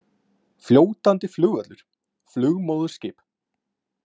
Fljótandi flugvöllur, flugmóðurskip.